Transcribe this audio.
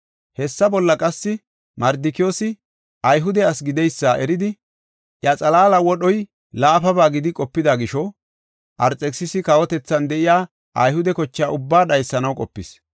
Hessa bolla qassi, Mardikiyoosi Ayhude asi gideysa eridi, iya xalaala wodhoy laafaba gidi qopida gisho, Arxekisisa kawotethan de7iya Ayhude kocha ubbaa dhaysanaw qopis.